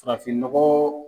Ka fini nɔgɔ